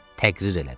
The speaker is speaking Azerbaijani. Təqrir elədi.